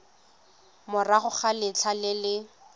morago ga letlha le le